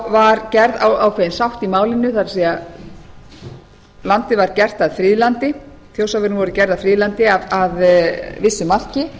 var gerð ákveðin sátt í málinu það er þjórsárverin voru gerð að friðlandi að vissu marki